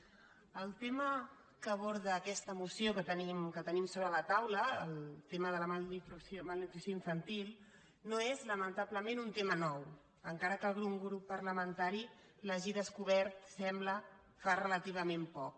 el tema que aborda aquesta mo·ció que tenim sobre la taula el tema de la malnutrició infantil no és lamentablement un tema nou encara que algun grup parlamentari l’hagi descobert sembla fa relativament poc